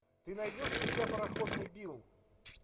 ты найдешь у себя пароходный билл